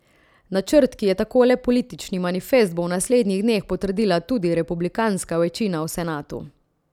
Načrt, ki je tako le politični manifest, bo v naslednjih dneh potrdila tudi republikanska večina v senatu.